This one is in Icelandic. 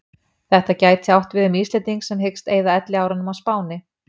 Þetta gæti átt við um Íslending sem hyggst eyða elliárunum á Spáni.